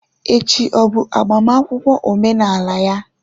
Echi ọ bụ agbamakwụkwọ omenala ya?